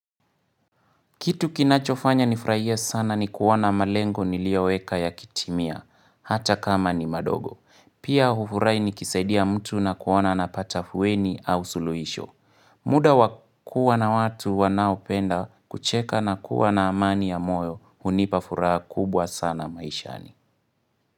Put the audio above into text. Kitu kinachofanya nifurahie sana ni kuona malengo niliyoweka yakitimia, hata kama ni madogo. Pia hufurahi nikisaidia mtu na kuoana anapata afueni au suluhisho. Muda wa kuwa na watu wanaopenda kucheka na kuwa na amani ya moyo hunipa furaha kubwa sana maishani.